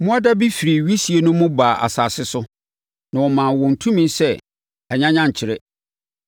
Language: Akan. Mmoadabi firii wisie no mu baa asase so, na wɔmaa wɔn tumi sɛ anyanyankyerɛ.